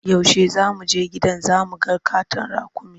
Yaushe za mu je gidan zu mu ga ƙaton raƙumi?